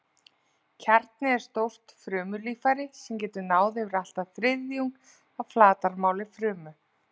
Kjarni er stórt frumulíffæri sem getur náð yfir allt að þriðjung af flatarmáli frumu.